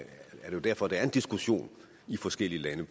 jo derfor der er en diskussion i forskellige lande